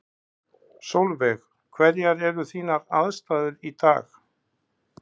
Sólveig: Hverjar eru þínar aðstæður í dag?